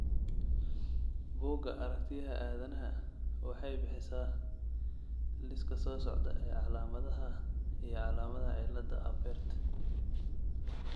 Bugga Aragtiyaha Aadanahawaxay bixisaa liiska soo socda ee calaamadaha iyo calaamadaha cillada Apert.